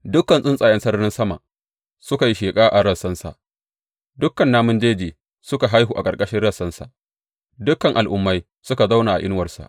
Dukan tsuntsayen sararin sama suka yi sheƙa a rassansa, dukan namun jeji suka haihu a ƙarƙashin rassansa; dukan al’ummai suka zauna a inuwarsa.